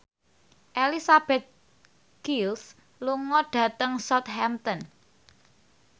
Elizabeth Gillies lunga dhateng Southampton